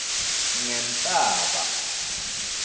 ngenhlaba